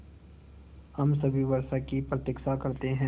हम सभी वर्षा की प्रतीक्षा करते हैं